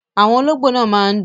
Àwọn olóńgbó máa ń dún.